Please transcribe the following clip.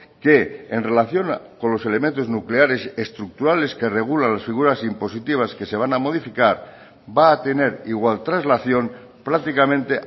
que en relación con los elementos nucleares estructurales que regulan las figuras impositivas que se van a modificar va a tener igual traslación prácticamente